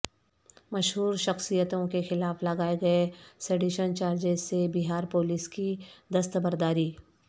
مشہور شخصیتوں کے خلاف لگائے گئے سیڈیشن چارجس سے بہار پولیس کی دستبرداری